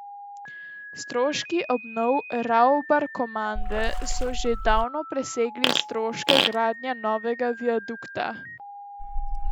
Stroški obnov Ravbarkomande so že davno presegli stroške gradnje novega viadukta.